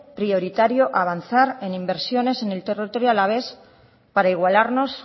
prioritario avanzar en inversiones en el territorio alavés para igualarnos